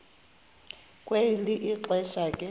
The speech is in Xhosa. kwelo xesha ke